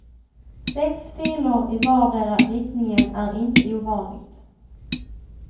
Sex filer i vardera riktningen är inte ovanligt.